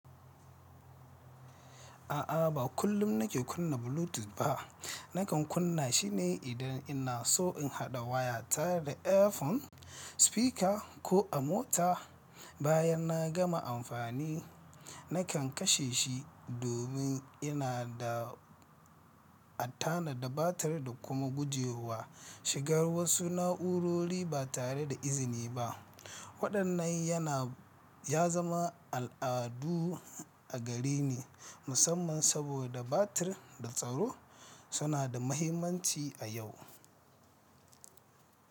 A'a, ba kullum nake kunna Bluetooth ba. Nakan kunna shi ne idan ina so in haɗa wayata da earphone, speaker ko a mota. Bayan na gama amfani, nakan kashe shi domin yana da attana da batir da kuma guje wa shigar wasu na'urori ba tare da izini ba. Waɗannan yana ya zama al'adu a gareni musamman saboda batir da tsaro suna da mahimmanci a yau.